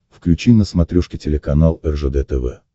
включи на смотрешке телеканал ржд тв